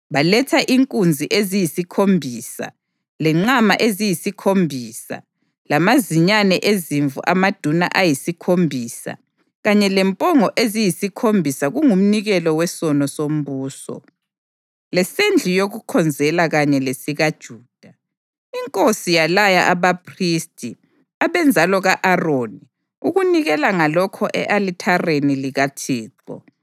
Baletha inkunzi eziyisikhombisa, lenqama eziyisikhombisa, lamazinyane ezimvu amaduna ayisikhombisa kanye lempongo eziyisikhombisa kungumnikelo wesono sombuso, lesendlu yokukhonzela kanye lesikaJuda. Inkosi yalaya abaphristi, abenzalo ka-Aroni, ukunikela ngalokho e-alithareni likaThixo.